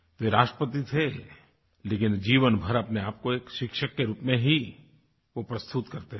वे राष्ट्रपति थे लेकिन जीवन भर अपने आप को एक शिक्षक के रूप में ही वो प्रस्तुत करते थे